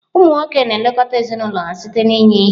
Ụmụ nwoke na-elekọta ezinụlọ ha site n'inye ihe.